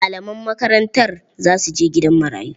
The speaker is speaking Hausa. Malaman makarantar za su je gidan marayu.